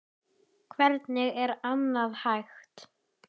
Hvernig er annað hægt?